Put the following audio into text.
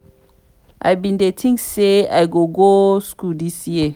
i bin dey think say i go go school dis year.